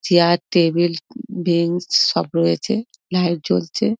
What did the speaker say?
Chair table bench সব রয়েছে light জ্বলছে।